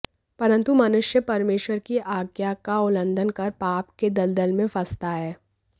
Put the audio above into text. परंतु मनुष्य परमेश्वर की आज्ञा का उल्लंघन कर पाप के दलदल में फंसता गया